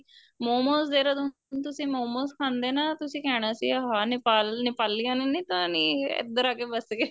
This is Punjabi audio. ਮੋਮੋਸ ਦੇਹਰਾਦੂਨ ਤੁਸੀਂ ਮੋਮੋਸ ਖਾਂਦੇ ਨਾ ਤੁਸੀਂ ਕਹਿਣਾ ਸੀ ਹਾਂ ਨਿਪਾਲ ਨਿਪਾਲਿਆ ਨੇ ਨੀਂ ਤਾਂ ਨੀਂ ਇੱਧਰ ਆ ਕੇ ਵੱਸ ਗਏ